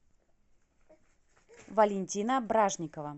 валентина бражникова